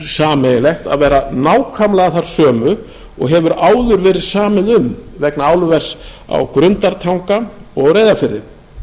sameiginlegt að vera nákvæmlega þær sömu og hefur áður verið samið um vegna álvers á grundartanga og reyðarfirði